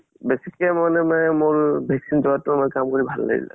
বেছিকে মানে মোৰ vaccine যোৱাতো মোৰ কাম কৰি ভাল লাগিছে ।